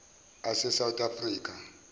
ase south africa